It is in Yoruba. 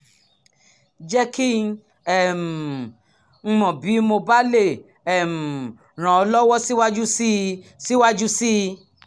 jẹ́ kí um n mọ̀ bí mo bá lè um ràn ọ́ lọ́wọ́ síwájú sí i síwájú sí i